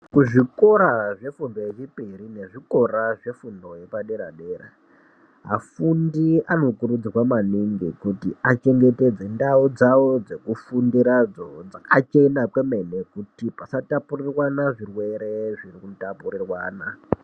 Kuzvikora zvefundo yechipiri mezvikora zvefundo yepadera dera afundi anokurudzirwa maningi kuti achengetedze ndau dzawo dzekufundira dzakachena kwemene kuti vasatapurirwana zvirwere zvinotapurirwana.